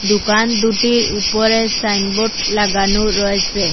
দুকান দুটির উপরে সাইনবোর্ড লাগানো রয়েসে।